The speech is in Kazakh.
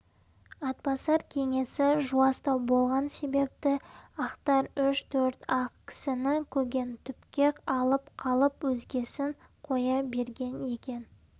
атбасар кеңесі жуастау болған себепті ақтар үш-төрт-ақ кісіні көгентүпке алып қалып өзгесін қоя берген екен